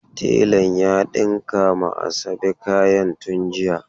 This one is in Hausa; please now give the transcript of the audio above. Telan ya dinka ma Asabe kayan tun jiya.